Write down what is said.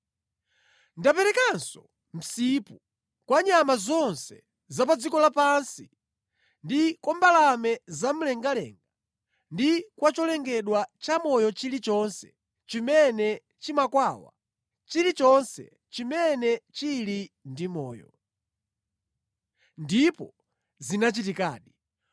Ndaperekanso msipu kwa nyama zonse za pa dziko lapansi ndi kwa mbalame zamlengalenga ndi kwa cholengedwa chamoyo chilichonse chimene chimakwawa, chilichonse chimene chili ndi moyo.” Ndipo zinachitikadi.